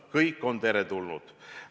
Kõik on teretulnud!